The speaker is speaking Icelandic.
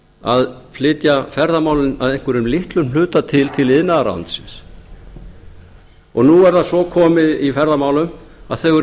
að flytja ferðamálin að einhverjum litlum hluta til iðnaðarráðuneytisins nú er það svo komið í ferðamálum að þau eru